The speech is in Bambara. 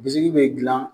Bisiki be gilan